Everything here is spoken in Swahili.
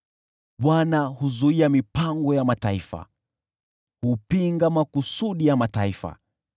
Bwana huzuia mipango ya mataifa, hupinga makusudi ya mataifa.